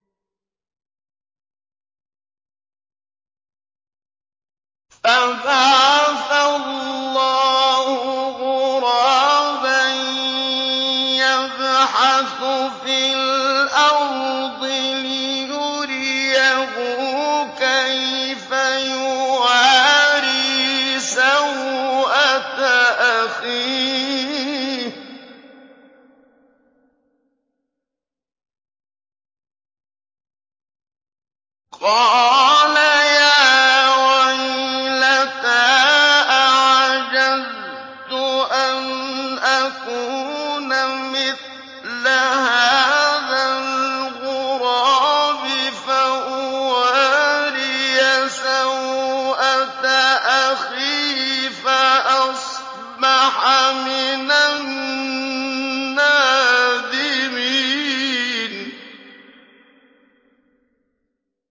فَبَعَثَ اللَّهُ غُرَابًا يَبْحَثُ فِي الْأَرْضِ لِيُرِيَهُ كَيْفَ يُوَارِي سَوْءَةَ أَخِيهِ ۚ قَالَ يَا وَيْلَتَا أَعَجَزْتُ أَنْ أَكُونَ مِثْلَ هَٰذَا الْغُرَابِ فَأُوَارِيَ سَوْءَةَ أَخِي ۖ فَأَصْبَحَ مِنَ النَّادِمِينَ